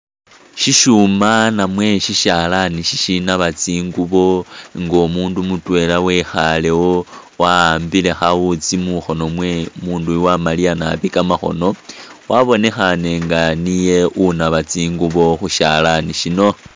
Syishuma namwe syishalaani shishinaaba tsinguubo nga umuundu mutwela wekhaalewo wahambile khawutsi mukhoono mwewe, umuundu uyu wamaliya naabi kamakhono wabonekhane nga niye unaaba tsingubo khu syalaani syino.